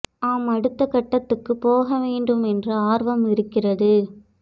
நாம் அடுத்த கட்டத்துக்குப் போக வேண்டும் என்ற ஆர்வம் இருக்கிறது